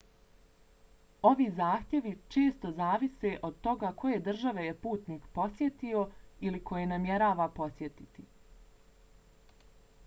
ovi zahtjevi često zavise od toga koje države je putnik posjetio ili koje namjerava posjetiti